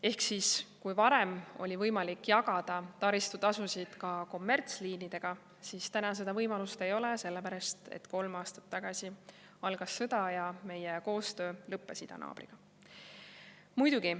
Ehk kui varem oli võimalik jagada taristutasusid ka kommertsliinidega, siis täna seda võimalust ei ole, sellepärast et kolm aastat tagasi algas sõda ja lõppes meie koostöö idanaabriga.